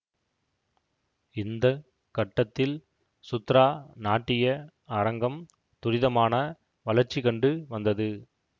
இந்த கட்டத்தில் சுத்ரா நாட்டிய அரங்கம் துரிதமான வளர்ச்சி கண்டு வந்தது